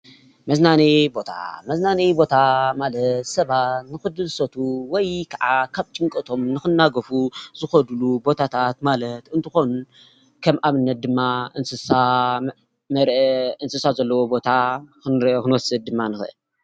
መዝናነይ ቦታ መዝናነይ ቦታ ማለት ሰባት ንክድሰቱ ወይ ከዓ ካብ ጭንቀቶም ንክናገፉ ዝከድሉ ቦታታትማለት እንትኮኑ ከም ኣብነት፦ ድማ እንስሳ ዘለዎ ቦታ ፣ መርኣይ ክወስድ ድማ ንክእል።